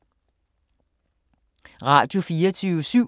Radio24syv